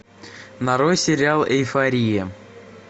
нарой сериал эйфория